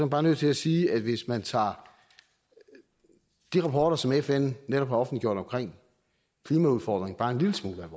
bare nødt til at sige at hvis man tager de rapporter som fn netop har offentliggjort omkring klimaudfordring bare en lille smule